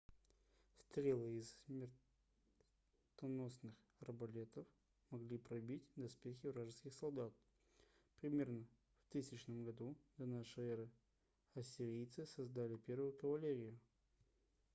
стрелы из их смертоносных арбалетов могли пробивать доспехи вражеских солдат примерно в 1000 году до нашей эры ассирийцы создали первую кавалерию